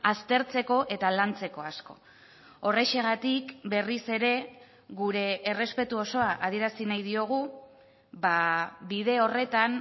aztertzeko eta lantzeko asko horrexegatik berriz ere gure errespetu osoa adierazi nahi diogu bide horretan